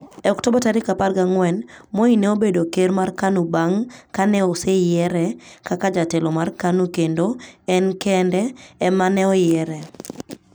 E Oktoba 14, Moi ne obedo ker mar KANU bang ' ka ne oseyiere kaka jatelo mar KANU kendo en kende ema ne oyiere.